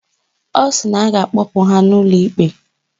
Ọ sị na ọ ga-akpụpụ ha ụlọ ikpe